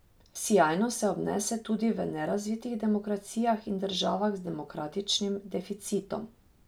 Sijajno se obnese tudi v nerazvitih demokracijah in državah z demokratičnim deficitom.